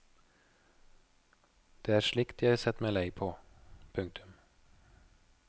Det er slikt jeg har sett meg lei på. punktum